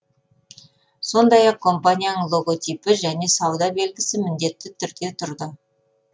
сондай ақ компанияның логотипі және сауда белгісі міндетті түрде тұрды